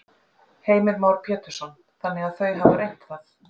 Heimir Már Pétursson: Þannig að þau hafa reynt það?